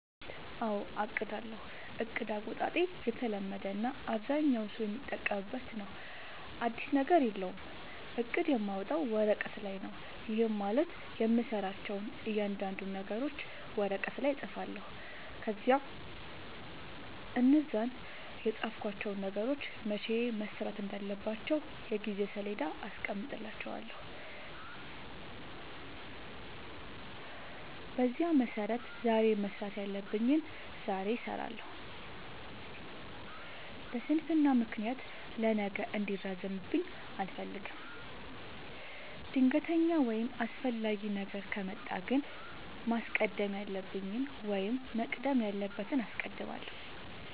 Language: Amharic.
አዎ አቅዳለሁ። እቅድ አወጣጤ የተለመደ እና አብዛኛው ሠው የሚጠቀምበት ነው። አዲስ ነገር የለውም። እቅድ የማወጣው ወረቀት ላይ ነው። ይህም ማለት የምሠራቸውን እያንዳንዱን ነገሮች ወረቀት ላይ እፅፋለሁ። ከዚያ እነዛን የፃፍኳቸውን ነገሮች መቼ መሠራት እንዳለባቸው የጊዜ ሠሌዳ አስቀምጥላቸዋለሁ። በዚያ መሠረት ዛሬ መስራት ያለብኝን ዛሬ እሠራለሁ። በስንፍና ምክንያት ለነገ እንዲራዘምብኝ አልፈልግም። ድንገተኛ ወይም አስፈላጊ ነገር ከመጣ ግን ማስቀደም ያለብኝን ወይም መቅደም ያለበትን አስቀድማለሁ።